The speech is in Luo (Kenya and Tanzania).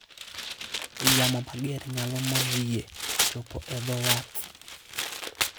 Yamo mager nyalo mono yie chopo e dho wath.